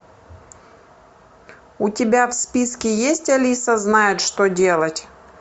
у тебя в списке есть алиса знает что делать